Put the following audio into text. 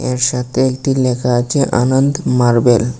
এর সাতে একটি লেখা আছে আনন্ত মার্বেল ।